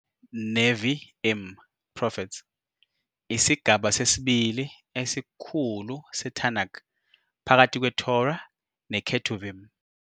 "Nevi'im", "Prophets". isigaba sesibili esikhulu seTanakh, phakathi kweTorah neKetuvim.